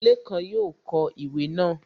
Lékan yóò kọ ìwé náà